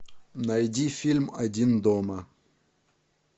найди фильм один дома